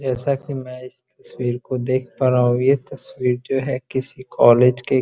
जैसा की मैं इस तस्वीर को देख पा रहा हूँ। ये तस्वीर जो है किसी कॉलेज के--